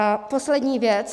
A poslední věc.